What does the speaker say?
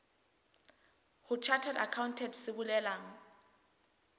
ho chartered accountant se bolelang